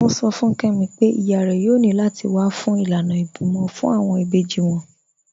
Wọn sọ̀ fún Kẹmi pẹ̀ iyá rẹ̀ yòò ní láti wà fún ilànà ìbímọ̀ fún awọn ìbèjì wọn.